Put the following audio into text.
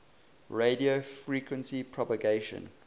radio frequency propagation